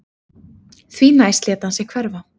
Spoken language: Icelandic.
Því næst lét hann sig hverfa